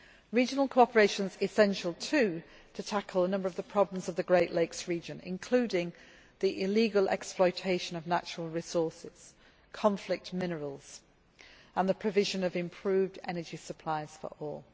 Regional cooperation is essential, too, to tackle a number of the problems of the Great Lakes region, including the illegal exploitation of natural resources conflict minerals and the provision of improved energy supplies for all.